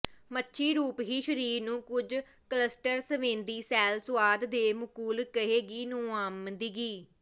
ਮੱਛੀ ਰੂਪ ਹੀ ਸਰੀਰ ਨੂੰ ਕੁਝ ਕਲੱਸਟਰ ਸੰਵੇਦੀ ਸੈੱਲ ਸੁਆਦ ਦੇ ਮੁਕੁਲ ਕਹਿੰਦੇ ਨੁਮਾਇੰਦਗੀ